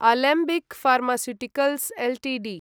Alembic pharmaceuticals Ltd